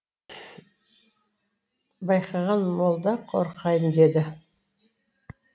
байқаған молда қорқайын деді